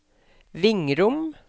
Vingrom